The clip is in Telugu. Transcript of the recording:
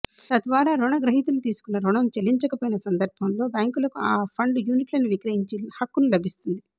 తద్వారా రుణగ్రహీతలు తీసుకున్నరుణం చెల్లించకపోయిన సందర్భంలో బ్యాంకులకు ఆ ఫండ్ యూనిట్లను విక్రయించే హక్కును లభిస్తుంది